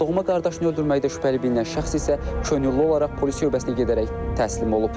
Doğma qardaşını öldürməkdə şübhəli bilinən şəxs isə könüllü olaraq polis şöbəsinə gedərək təslim olub.